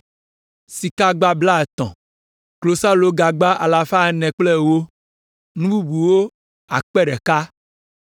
Sikagagba blaetɔ̃ (30), Klosalogagba alafa ene kple ewo (410), nu bubuwo akpe ɖeka (1,000).